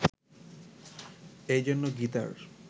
এই জন্য গীতার